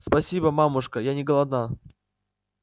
спасибо мамушка я не голодна